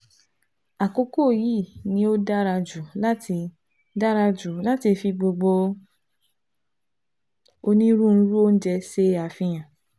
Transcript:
àkókò yìí ni ó dára jù láti dára jù láti fi gbogbo onírúurú oúnjẹ ṣe àfihàn